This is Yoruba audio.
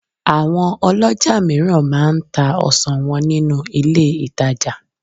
àwọn olójà òmíràn ma m ta ọsàn wọn ninu ilé ìtajà